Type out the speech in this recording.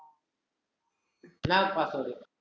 என்ன password உ